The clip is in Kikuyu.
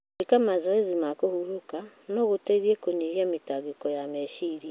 Gwĩka mazoezi ma kũhurũka no gũteithie kũnyihia mĩtangĩko ya meciria.